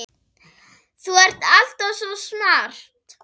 Þú ert alltaf svo smart.